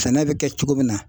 Sɛnɛ bɛ kɛ cogo min na